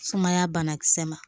Sumaya banakisɛ ma